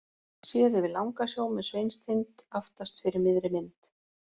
Séð yfir Langasjó með Sveinstind aftast fyrir miðri mynd.